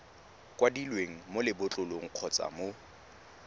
kwadilweng mo lebotlolong kgotsa mo